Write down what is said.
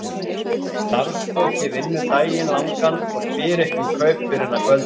Starfsfólkið vinnur daginn langan og spyr ekki um kaup fyrr en að kvöldi.